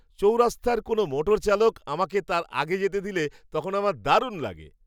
চৌরাস্তায় কোনো মোটর চালক আমাকে তার আগে যেতে দিলে তখন আমার দারুণ লাগে।